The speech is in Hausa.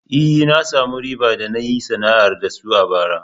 E, na samu riba da na yi sana'ar da su bara.